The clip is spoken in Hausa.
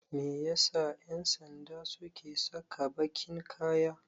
Me yasa 'yansanda suke saka bakin kaya?